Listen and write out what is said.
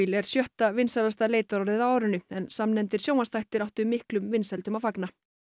er sjötta vinsælasta leitarorðið á árinu en sjónvarpsþættir áttu miklum vinsældum að fagna